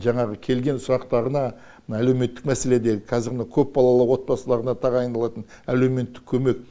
жаңағы келген сұрақтарына мына әлеуметтік мәселеде қазір мына көпбалалы отбасыларына тағайындалатын әлеуметтік көмек